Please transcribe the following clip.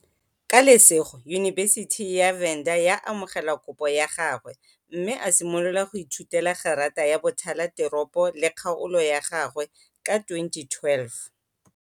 Ka lesego, yunibesithi ya Venda ya amogela kopo ya gagwe mme a simolola go ithutela Gerata ya Bothala Teropo le Kgaolo ya gagwe ka 2012.